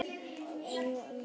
Og ég var ekki einn um það.